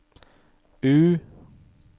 U